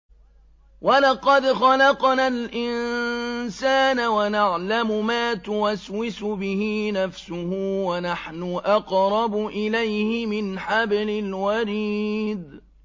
وَلَقَدْ خَلَقْنَا الْإِنسَانَ وَنَعْلَمُ مَا تُوَسْوِسُ بِهِ نَفْسُهُ ۖ وَنَحْنُ أَقْرَبُ إِلَيْهِ مِنْ حَبْلِ الْوَرِيدِ